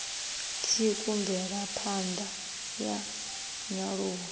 tsiku mvelapha ṋda ya nyaluwo